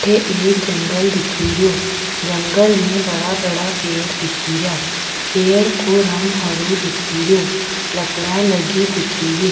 अठे एक जंगल दिखे रियो जंगल में बड़ा बड़ा पेड़ दिखे रिया पेड़ को रंग हरो दिखे रियो लकडिया लगी दिखे री।